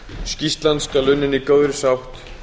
skýrslan skal unnin í góðri sátt